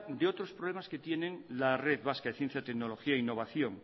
de otros problemas que tiene la red vasca de ciencia y tecnología e innovación